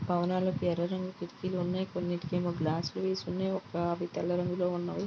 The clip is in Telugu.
భావనాలకి ఎర్ర రంగు కిటికీలు ఉన్నాయి. కొన్నిటికి ఏమో గ్లాసులు వేసి ఉన్నాయి. ఒక ఆవు తెల్ల రంగులో ఉన్నది.